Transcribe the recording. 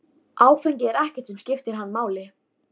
Áfengi er ekkert sem skiptir hann máli.